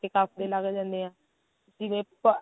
ਕਫ਼ ਵੀ ਲੱਗ ਜਾਂਦੇ ਆ ਜਵੇਂ ਪਾ